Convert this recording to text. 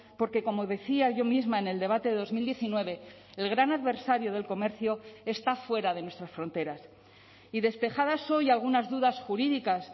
porque como decía yo misma en el debate de dos mil diecinueve el gran adversario del comercio está fuera de nuestras fronteras y despejadas hoy algunas dudas jurídicas